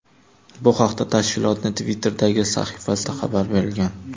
Bu haqda tashkilotning Twitter’dagi sahifasida xabar berilgan .